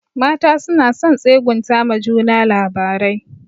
Mata suna son tsegunta ma juna labarai.